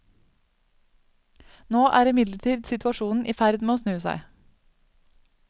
Nå er imidlertid situasjonen i ferd med å snu seg.